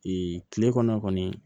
kile kɔnɔ